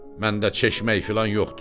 Məndə çeşmək filan yoxdur.